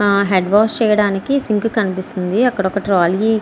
ఆ head wash చేయడానికి sink కనిపిస్తుంది అక్కడ ఒక ట్రాలీ --